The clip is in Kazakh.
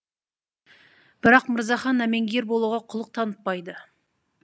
бірақ мырзахан әмеңгер болуға құлық танытпайды